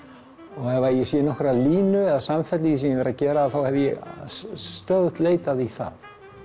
og ef ég sé nokkra línu eða samfellu í því sem ég hef verið að gera hef ég stöðugt leitað í það